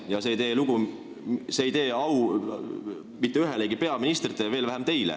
Ja see ei tee au mitte ühelegi peaministrile, veel vähem teile.